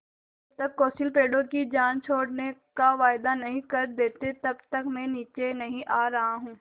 जब तक कौंसिल पेड़ों की जान छोड़ने का वायदा नहीं कर देती तब तक मैं नीचे नहीं आ रहा हूँ